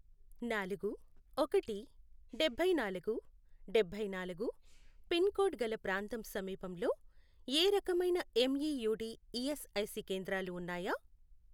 నాలుగు, ఒకటి, డభైనాలుగు, డభైనాలుగు, పిన్ కోడ్ గల ప్రాంతం సమీపంలో ఏ రకమైన ఎంఈయూడి ఈఎస్ఐసి కేంద్రాలు ఉన్నాయా?